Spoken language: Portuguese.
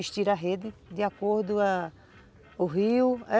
Estira a rede de acordo ãh o rio.